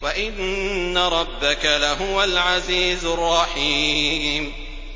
وَإِنَّ رَبَّكَ لَهُوَ الْعَزِيزُ الرَّحِيمُ